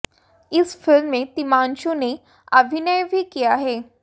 इस फिल्म में तिग्मांशु ने अभिनय भी किया है